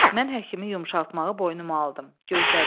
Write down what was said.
Mən həkimi yumşaltmağı boynuma aldım, gözlədim.